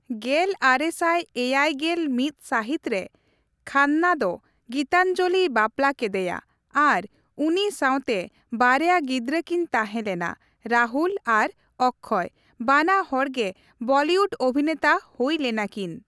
ᱜᱮᱞ ᱟᱨᱮ ᱥᱟᱭ ᱮᱭᱟᱭ ᱜᱮᱞ ᱢᱤᱛ ᱥᱟᱹᱦᱤᱛ ᱨᱮ ᱠᱷᱟᱱᱱᱟ ᱫᱚ ᱜᱤᱛᱟᱧᱡᱚᱞᱤᱭ ᱵᱟᱯᱞᱟ ᱠᱮᱫᱮᱭᱟ ᱟᱨ ᱩᱱᱤ ᱥᱟᱣᱛᱮ ᱵᱟᱨᱭᱟ ᱜᱤᱫᱽᱨᱟᱹ ᱠᱤᱱ ᱛᱟᱦᱮᱸᱞᱮᱱᱟ, ᱨᱟᱦᱩᱞ ᱟᱨ ᱚᱠᱠᱷᱚᱭ, ᱵᱟᱱᱟ ᱦᱚᱲ ᱜᱮ ᱵᱚᱞᱤᱭᱩᱰ ᱚᱵᱷᱤᱱᱮᱛᱟ ᱦᱩᱭ ᱞᱮᱱᱟᱠᱤᱱ ᱾